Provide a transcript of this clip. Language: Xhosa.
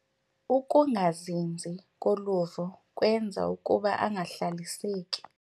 Ukungazinzi koluvo kwenza ukuba angahlaliseki.